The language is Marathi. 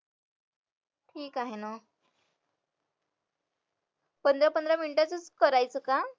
ठीक आहे ना पंधरा पंधरा मिनिटाचच करायचं का